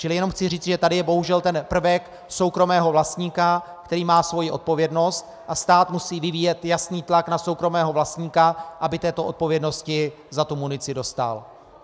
Čili jenom chci říct, že tady je bohužel ten prvek soukromého vlastníka, který má svoji odpovědnost, a stát musí vyvíjet jasný tlak na soukromého vlastníka, aby této odpovědnosti za tu munici dostál.